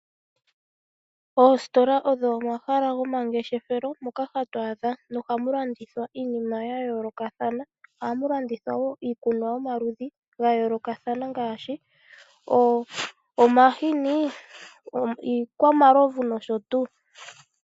Oositola odho oma hala go mangeshefelo, moka hatu adha, no hamu landithwa iinima ya yoolokathana, ngaashi: omahini, iikwamalovu nosho tuu